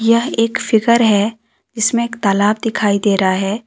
यह एक फिगर है जिसमें एक तालाब दिखाई दे रहा है।